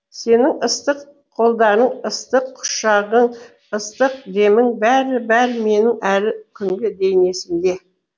сенің ыстық қолдарың ыстық құшағың ыстық демің бәрі бәрі менің әлі күнге дейін есімде